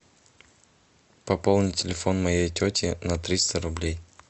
пополни телефон моей тети на триста рублей